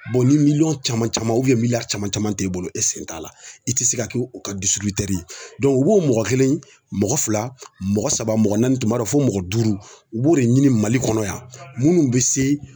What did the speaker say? ni miliyɔn caman caman caman caman t'e bolo e sen t'a la i tɛ se ka kɛ o ka dusutr ye u b'o mɔgɔ kelen mɔgɔ fila mɔgɔ saba mɔgɔ naani tun b'a dɔn fo mɔgɔ duuru i b'o de ɲini mali kɔnɔ yan minnu bɛ se